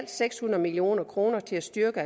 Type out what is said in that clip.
seks hundrede million kroner til at styrke